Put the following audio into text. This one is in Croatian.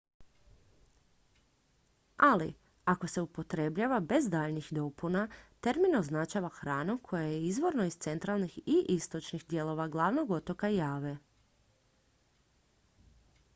ali ako se upotrebljava bez daljnjih dopuna termin označava hranu koja je izvorno iz centralnih i istočnih dijelova glavnog otoka jave